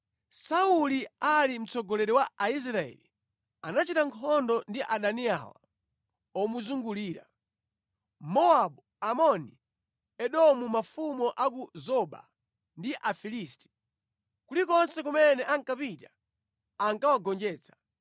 Sauli ali mtsogoleri wa Israeli, anachita nkhondo ndi adani awa omuzungulira: Mowabu, Amoni, Edomu mafumu a ku Zoba ndi Afilisti. Kulikonse kumene ankapita ankawagonjetsa.